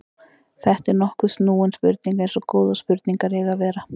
Þetta er nokkuð snúin spurning eins og góðar spurningar eiga að vera.